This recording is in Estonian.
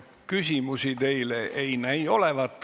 Küsimusi teile ei ole.